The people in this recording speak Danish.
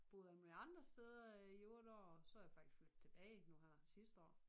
Boet alle mulige andre steder i 8 år så er jeg faktisk flyttet tilbage nu her sidste år